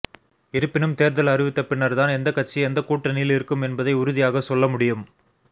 இருப்பினும் தேர்தல் அறிவித்த பின்னர் தான் எந்த கட்சி எந்த கூட்டணியில் இருக்கும் என்பதை உறுதியாக சொல்ல முடியும்